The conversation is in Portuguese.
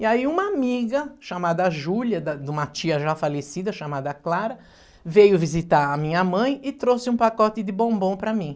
E aí uma amiga chamada Júlia, da de uma tia já falecida, chamada Clara, veio visitar a minha mãe e trouxe um pacote de bombom para mim.